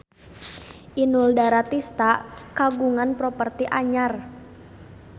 Inul Daratista kagungan properti anyar